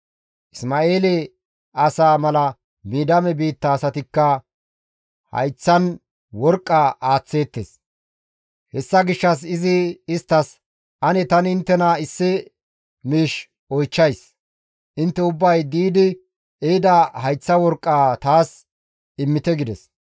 Isma7eele asaa mala Midiyaame biitta asatikka hayththan worqqa aaththeettes; hessa gishshas izi isttas, «Ane tani inttena issi miish oychchays; intte ubbay di7idi ehida hayththa worqqaa taas immite» gides.